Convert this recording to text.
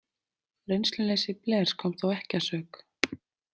Reynsluleysi Blairs kom þó ekki að sök.